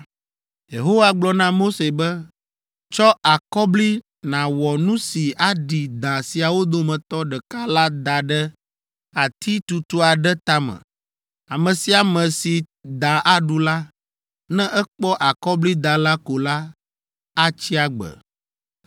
Yehowa gblɔ na Mose be, “Tsɔ akɔbli nàwɔ nu si aɖi da siawo dometɔ ɖeka la da ɖe ati tutu aɖe tame. Ame sia ame si da aɖu la, ne ekpɔ akɔblida la ko la, atsi agbe!”